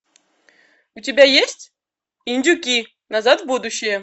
у тебя есть индюки назад в будущее